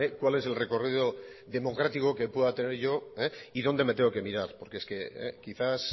cuál es el recorrido democrático que pueda tener yo y dónde me tengo que mirar porque es quizás